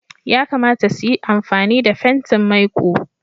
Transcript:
Yakamata su yi amfani da fentin maiƙo.